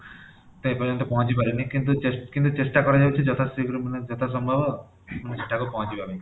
ଏ ପର୍ଯ୍ୟନ୍ତ ପହଞ୍ଚି ପାରିନି କିନ୍ତୁ କିନ୍ତୁ ଚେଷ୍ଟା କରାଯାଉଛି ଯଥା ଶୀଘ୍ର ମାନେ ଯଥା ସମ୍ଭବ ସେଠାକୁ ପହଞ୍ଚିବା ପାଇଁ